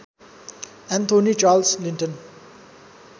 Anthony Charles Linton